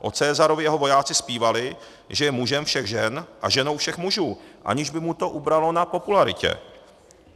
O Caesarovi jeho vojáci zpívali, že je mužem všech žen a ženou všech mužů, aniž by mu to ubralo na popularitě.